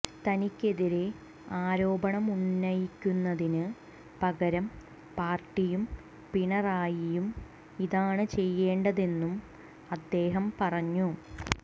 തനിക്കെതിരെ ആരോപണമുന്നയിക്കുന്നതിന് പകരം പാര്ട്ടിയും പിണറായിയും ഇതാണ് ചെയ്യേണ്ടതെന്നും അദ്ദേഹം പറഞ്ഞു